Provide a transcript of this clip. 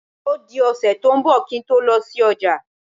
Ó di ọ̀sẹ̀ tó ń bọ̀ kí n tó lọ sí ọjà.